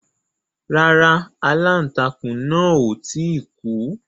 Rárá. Aláǹtakùn náà ò tí ì kú.